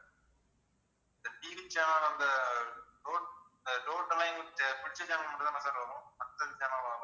TV channel அந்த total லா எங்களுக்கு பிடிச்ச channel மட்டும் தானே sir வரும் மத்த channel லாம் வராதுல்ல